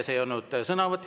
See ei olnud sõnavõtt.